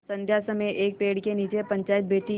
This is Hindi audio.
संध्या समय एक पेड़ के नीचे पंचायत बैठी